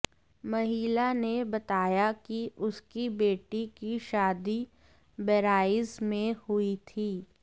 महिला ने बताया कि उसकी बेटी की शादी बहराइच में हुई थी